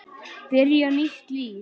Byrja nýtt líf.